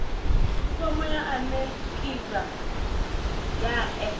fomo ya anekizha ya e